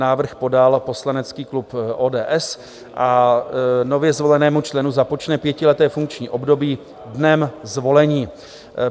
Návrh podal poslanecký klub ODS a nově zvolenému členu započne pětileté funkční období dnem zvolení.